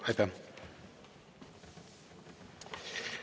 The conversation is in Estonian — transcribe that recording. Aitäh!